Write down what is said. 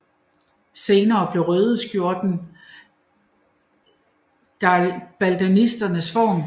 Senere blev røde skjorte garibaldisternes uniform